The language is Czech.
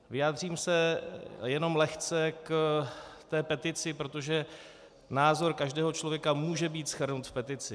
Vyjádřím se jenom lehce k té petici, protože názor každého člověka může být shrnut v petici.